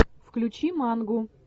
включи мангу